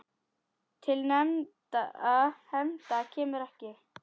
Til hefnda kemur ekki!